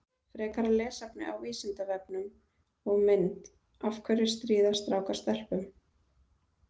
Frekara lesefni á Vísindavefnum og mynd Af hverju stríða strákar stelpum?